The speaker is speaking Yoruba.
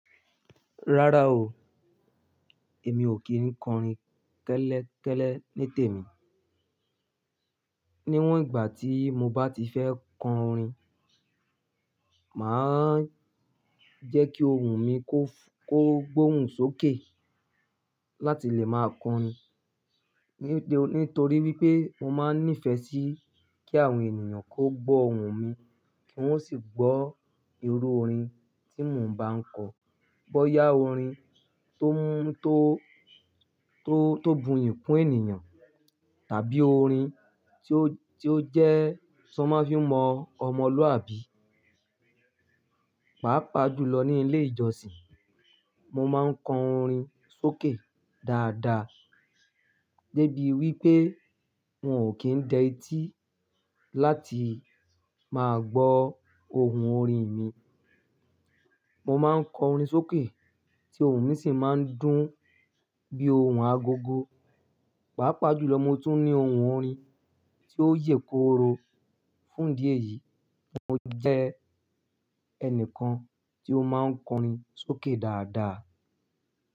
Rárá o, èmi ò kí ń kọrin kẹ́lẹ́kẹ́lẹ́ nítèmi. Níwọ̀n ìgbà tí mo bá ti fẹ́ kọ orin, mà á jẹ́ kí ohùn mi ko kó gbóhùn sókè láti lè máa kọ orin. Nítorí wipé mo máa ń nífẹ̀ẹ́ sí kí àwọn ènìyàn kó gbó ohùn mi kí wọ́n sì gbọ́ irú orin tí mo ń bá ń kọ. Bọ́yá orin to mu to tó bùyì kún ènìyàn tàbí orin tí ó jẹ́ tan ma fi n mọ́ ọmọlúwàbí. Pàápàá jùlọ ní ilé ìjọsìn, mo máa ń kọ orin sókè dáadáa. Gẹ́gẹ́ bí wípé won ò kín dẹ etí láti máa gbọ ohùn orin mi. Mo máa ń kọ orin sókè tí ohùn mi sì máa ń dún bí ohùn agogo. Pàápàá jùlọ mo tún ní ohùn orin tí ó yè kooro. Fún idí eyìí, mo jẹ́ ẹnìkan tí ó máa ń kọrin sókè dáadáa.